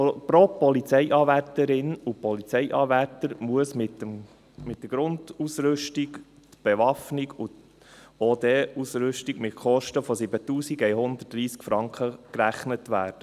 Pro Polizeianwärterin und Polizeianwärter muss für eine Uniform Grundausrüstung (KEP), die Bewaffnung und die OD-Ausrüstung, mit Kosten von 7130 Franken gerechnet werden.